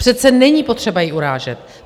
Přece není potřeba ji urážet.